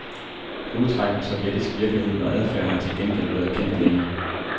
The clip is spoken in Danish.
Hovedtræk af sovjetisk virkelighed og adfærd har til gengæld været kendt længe.